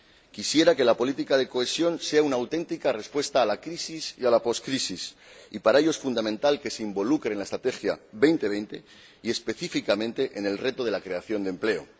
Quisiera que la política de cohesión sea una auténtica respuesta a la crisis y a la poscrisis y, para ello, es fundamental que se integre en la Estrategia 2020 y, específicamente, en el reto de la creación de empleo.